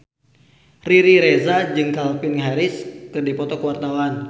Riri Reza jeung Calvin Harris keur dipoto ku wartawan